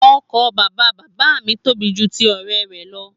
Oko bàbá bàbá mi tóbi jù ti ọrẹ rẹ lọ.